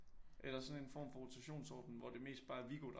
Eller sådan en form for rotationsordning hvor det mest bare er Viggo der